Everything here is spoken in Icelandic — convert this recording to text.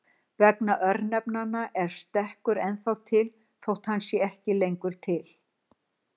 Vegna örnefnanna er stekkur ennþá til þótt hann sé ekki lengur til.